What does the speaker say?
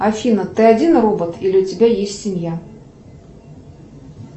афина ты один робот или у тебя есть семья